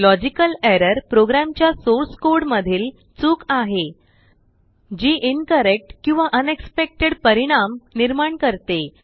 logical errorप्रोग्रामच्याsource codeमधील चूक आहे जीincorrectकिंवाunexpectedपरिणाम निर्माण करते